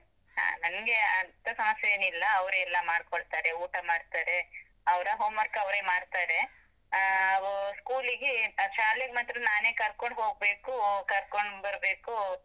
ಹಾ, ನನ್ಗೆ ಅಂತ ಸಮಸ್ಯೆ ಏನೂ ಇಲ್ಲ, ಅವ್ರೇ ಎಲ್ಲ ಮಾಡ್ಕೊಳ್ತಾರೆ ಊಟ ಮಾಡ್ತಾರೆ, ಅವ್ರ homework ಅವ್ರೇ ಮಾಡ್ತಾರೆ, ಆಹ್ school ಗೆ ಶಾಲೆಗ್ ಮಾತ್ರ ನಾನೇ ಕರ್ಕೊಂಡ್ ಹೋಗ್ಬೇಕು, ಕರ್ಕೊಂಡ್ ಬರ್ಬೇಕು.